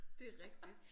Det rigtigt